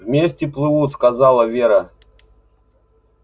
вместе плывут сказала вера